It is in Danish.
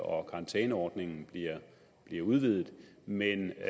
og at karantæneordningen bliver udvidet men